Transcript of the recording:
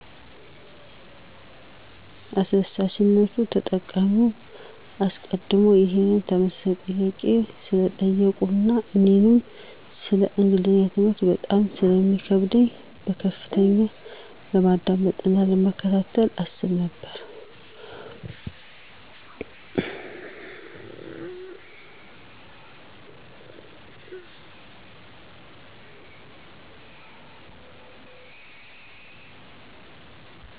አስደሳችነዉ !ተጠቃሚዉ አሰቀድሞ ይሄን ተመሳሳይ ጥያቄ ስለጠየቁ አና እኔንም ሰለ እንግሊዝኛ ትምህርት በጣም ስለሚከብደ በከፍተኛ ለማዳመጥ አና ለመከታተል አስብ ነበረ።